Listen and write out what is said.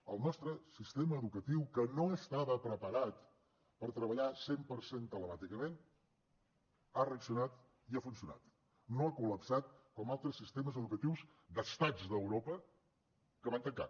el nostre sistema educatiu que no estava preparat per treballar al cent per cent telemàticament ha reaccionat i ha funcionat no ha col·lapsat com altres sistemes educatius d’estats d’europa que van tancar